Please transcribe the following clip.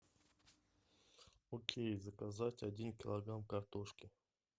окей заказать один килограмм картошки